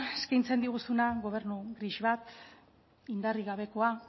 eskeintzen diguzuna gobernu gris bat indarrik gabekoa